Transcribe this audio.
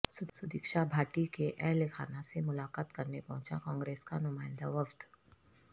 سدیکشا بھاٹی کے اہل خانہ سے ملاقات کرنے پہنچا کانگریس کا نمائندہ وفد